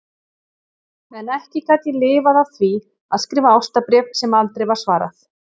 En ekki gat ég lifað af því að skrifa ástarbréf sem aldrei var svarað.